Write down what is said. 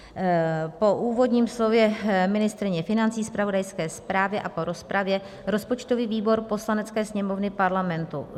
Po úvodním slově ministryně financí, zpravodajské zprávě a po rozpravě rozpočtový výbor Poslanecké sněmovny Parlamentu